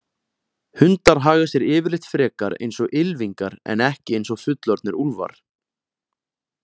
Hundar haga sér yfirleitt frekar eins og ylfingar en ekki eins og fullorðnir úlfar.